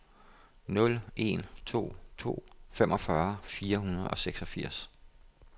nul en to to femogfyrre fire hundrede og seksogfirs